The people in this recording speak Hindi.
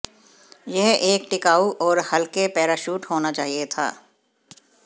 यह एक टिकाऊ और हल्के पैराशूट होना चाहिए था